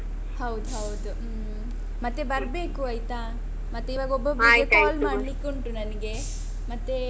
ಹೌದೌದು. ಹ್ಮ್. ಮತ್ತೆ ಬರ್ಬೇಕು ಆಯ್ತಾ. ಮತ್ತೆ ಇವಾಗ ಒಬ್ಬೊಬ್ಬರಿಗೆ. call ಮಾಡಲಿಕ್ಕುಂಟು ನನಿಗೆ, ಮತ್ತೆ.